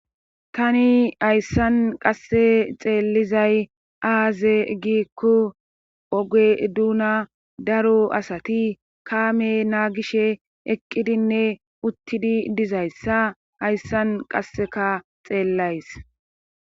tani hayssan qasse xeellizay aaze giikku oge duuna daro asati kaame naagishe eqqidinne uttidi dizayssa hayssan qasseka xeellays